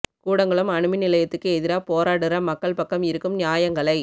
கூடங்குளம் அணுமின் நிலையத்துக்கு எதிரா போராடுற மக்கள் பக்கம் இருக்கும் நியாயங்களை